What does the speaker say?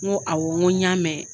N go awɔ n ko y'a mɛn.